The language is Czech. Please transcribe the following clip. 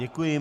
Děkuji.